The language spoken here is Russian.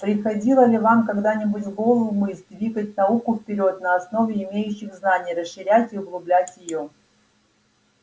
приходила ли вам когда-нибудь в голову мысль двигать науку вперёд на основе имеющих знаний расширять и углублять её